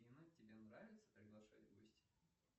афина тебе нравится приглашать в гости